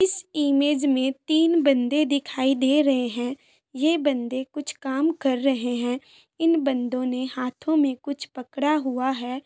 इस इमेज में तीन बंदे दिखाई दे रहे हैं यह बंदे कुछ काम कर रहे हैं इन बंदों ने हाथ में कुछ पड़ा हुआ है।